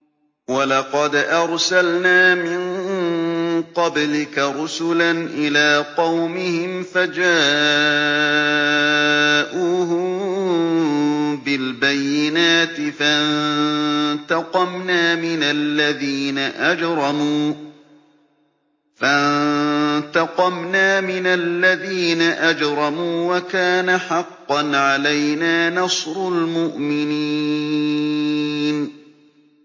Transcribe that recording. وَلَقَدْ أَرْسَلْنَا مِن قَبْلِكَ رُسُلًا إِلَىٰ قَوْمِهِمْ فَجَاءُوهُم بِالْبَيِّنَاتِ فَانتَقَمْنَا مِنَ الَّذِينَ أَجْرَمُوا ۖ وَكَانَ حَقًّا عَلَيْنَا نَصْرُ الْمُؤْمِنِينَ